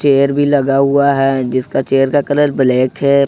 Chair भी लगा हुआ है जिसका चेयर का कलर ब्लैक है।